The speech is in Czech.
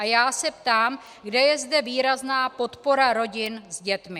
A já se ptám, kde je zde výrazná podpora rodin s dětmi.